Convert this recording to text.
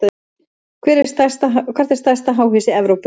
Hvert er stærsta háhýsi í Evrópu?